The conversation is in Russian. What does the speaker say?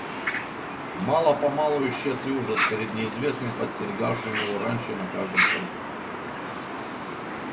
мало помалу исчез и ужас перед неизвестным подстерегавшим его раньше на каждом шагу